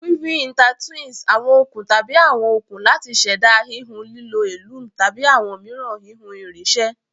Weaving intertwines awon okun tabi awọn okun lati ṣẹda hihun lilo a loom tabi awọn miiran hihun irinṣẹ